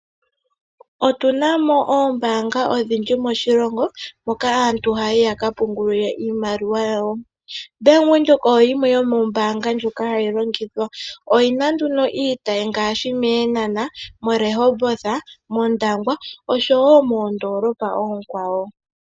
Otuna mo ombaanga odhindji moshilongo moka aantu haya kapungula iimaliwa yawo. Bank Windhoek oyo yimwe yomombaanga ndhoka hadhi longithwa oyina iitayi ngaashi Eenana, Rehoboth, Ondangwa oshowo oondolopa oonkwawo.